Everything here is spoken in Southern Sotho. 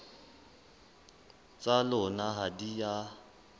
tsa lona ha di a